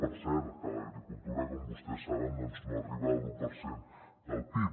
per cert que l’agricultura com vostès saben no arriba a l’u per cent del pib